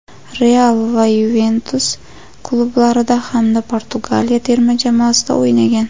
"Real" va "Yuventus" klublarida hamda Portugaliya terma jamoasida o‘ynagan.